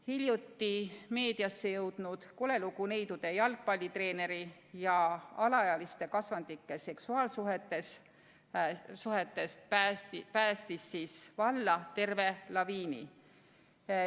Hiljuti meediasse jõudnud kole lugu neidude jalgpallitreeneri ja alaealiste kasvandike seksuaalsuhetest päästis valla terve laviini.